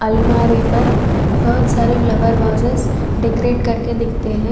अलमारी पर बहुत सारे फ्लावर वर्सेस डेकोरेट करके दिखते हैं।